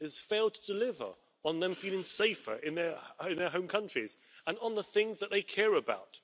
it has failed to deliver on them feeling safer in their home countries, and on the things that they care about.